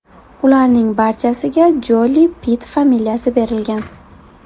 Ularning barchasiga Joli-Pitt familiyasi berilgan.